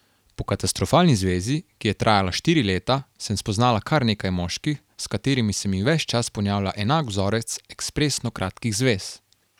Po katastrofalni zvezi, ki je trajala štiri leta, sem spoznala kar nekaj moških, s katerimi se mi ves čas ponavlja enak vzorec ekspresno kratkih zvez.